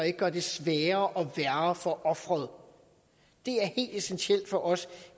ikke gør det sværere og værre for offeret det er helt essentielt for os